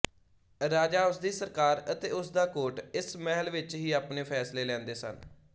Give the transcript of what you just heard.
ਰਾਜਾ ਉਸਦੀ ਸਰਕਾਰ ਅਤੇ ਉਸਦਾ ਕੋਰਟ ਇਸ ਮਹਿਲ ਵਿੱਚ ਹੀ ਆਪਣੇ ਫੈਸਲੇ ਲੈਂਦੇ ਸਨ